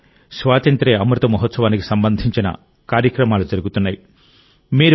ప్రస్తుతం స్వాతంత్య్ర అమృత మహోత్సవానికి సంబంధించిన కార్యక్రమాలు జరుగుతున్నాయి